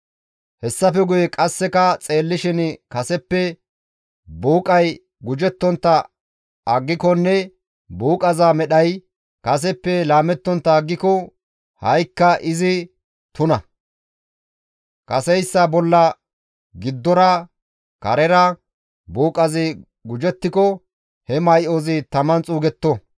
Hessafe qasseka xeellishin kaseppe buuqay gujettontta aggikonne buuqaza medhay kaseppe laamettontta aggiko ha7ikka izi tuna; kaseyssa bolla giddora, karera buuqazi gujettiko he may7ozi taman xuugetto.